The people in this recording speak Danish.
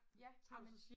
Ja ej men